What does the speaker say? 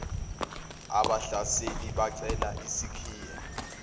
abahlaseli becela isikhiye